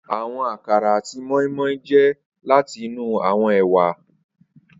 Awọn akara ati moi-moi jẹ lati inu awọn ewa.